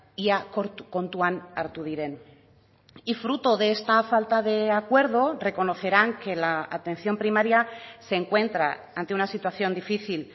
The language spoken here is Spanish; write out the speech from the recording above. ia kontuan hartu diren y fruto de esta falta de acuerdo reconocerán que la atención primaria se encuentra ante una situación difícil